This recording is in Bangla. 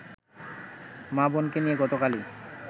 মা-বোনকে নিয়ে গতকালই